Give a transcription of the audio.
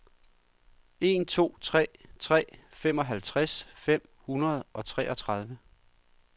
en to tre tre femoghalvtreds fem hundrede og treogtredive